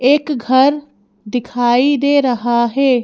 एक घर दिखाई दे रहा है।